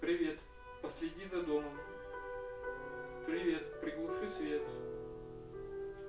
привет последи за домом привет приглуши свет